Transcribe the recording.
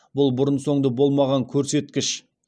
бұл бұрын соңды болмаған көрсеткіш